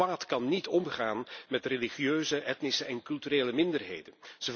Dit kwaad kan niet omgaan met de religieuze, etnische en culturele minderheden.